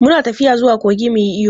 Mu na tafiya zuwa kogi mu yi iyo.